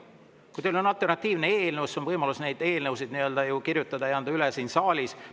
Kui teil on alternatiivne eelnõu, siis võib seda ju kirjutada ja anda üle siin saalis.